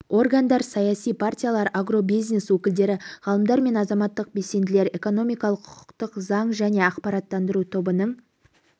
органдар саяси партиялар агробизнес өкілдері ғалымдар мен азаматтық белсенділер экономикалық құқықтық заң және ақпараттандыру тобының